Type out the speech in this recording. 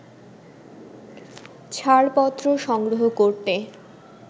ছাড়পত্র সংগ্রহ করতে